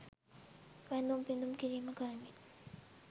වැඳුම් පිඳුම් කිරීම කරමින්